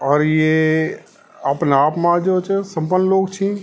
और ये अपनाआप मा जो च संपन लोग छि।